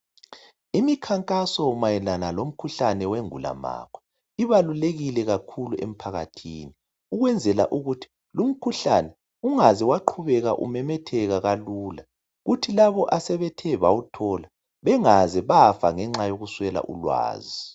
Imikhankaso mayelana lomkhuhlane wengulamakhwa ibalulekile kakhulu emphakathini ukwenzela ukuthi lumkhuhlane ungaze waqhubeka umemetheka kalula. Kuthi labo asebethe bawuthola, bengaze bafa ngenxa yokuswela ulwazi